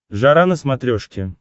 жара на смотрешке